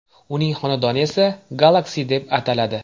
Uning xonadoni esa Galaxy deb ataladi.